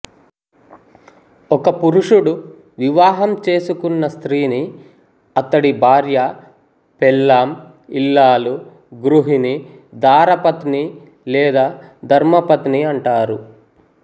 ఒక పురుషుడు వివాహము చేసుకున్న స్త్రీని అతడి భార్య పెళ్ళాం ఇల్లాలు గృహిణి దార పత్ని లేదా ధర్మపత్ని అంటారు